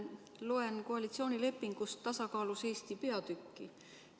Loen koalitsioonilepingust "Tasakaalus Eesti" peatükki.